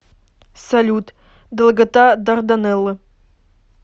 салют долгота дарданеллы